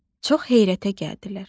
Çox heyrətə gəldilər.